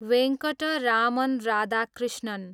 Venkataraman Radhakrishnan